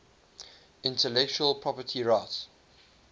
intellectual property rights